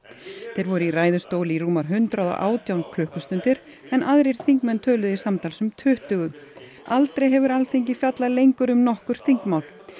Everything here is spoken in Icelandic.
þeir voru í ræðustól í rúmar hundrað og átján klukkustundir en aðrir þingmenn töluðu í samtals um tuttugu aldrei hefur Alþingi fjallað lengur um nokkurt þingmál